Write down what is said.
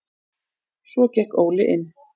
Svo gekk Óli inn.